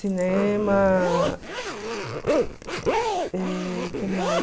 Cinema... Eh, que mais?